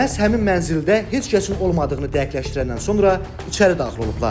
Məhz həmin mənzildə heç kəsin olmadığını dəqiqləşdirəndən sonra içəri daxil olublar.